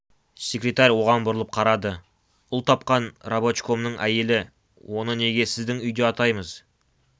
секретарь оған бұрылып қарады ұл тапқан рабочкомның әйелі оны неге сіздің үйде атаймыз